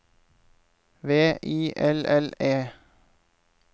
V I L L E